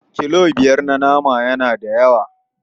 Kilo biyar na nama yana da yawa.